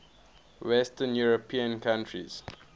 western european countries